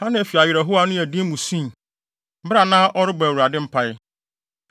Hana fi awerɛhow a ano yɛ den mu sui, bere a na ɔrebɔ Awurade mpae.